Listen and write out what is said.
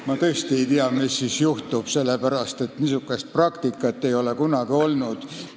Ma tõesti ei tea, mis siis juhtub, sellepärast et niisugust praktikat ei ole kunagi olnud.